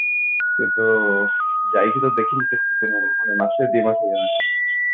କିନ୍ତୁ ଯାଇକି ତ ଦେଖିନି କେତେଦିନ ହେଲାଣି ମାସେ ଦି ମାସେ ହେଇ ଗଲାଣି